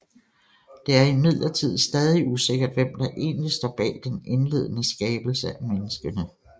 Det er imidlertid stadig usikkert hvem der egentlig står bag den indledende skabelse af menneskene